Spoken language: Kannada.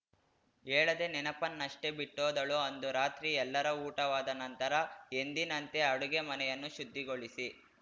ಹೇಳದೇ ನೆನಪನ್ನಷ್ಟೇ ಬಿಟ್ಟೋದಳು ಅಂದು ರಾತ್ರಿ ಎಲ್ಲರ ಊಟವಾದ ನಂತರ ಎಂದಿನಂತೆ ಅಡುಗೆ ಮನೆಯನ್ನು ಶುದ್ಧಿಗೊಳಿಸಿ